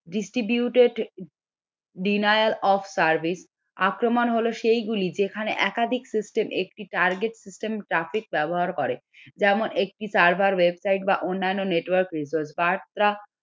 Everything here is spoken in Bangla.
distributed denial of service আক্রমণ হলো সেইগুলি যেখানে একাধিক system একটি target system traffic ব্যবহার করে যেমন একটি server website বা অন্যান্য network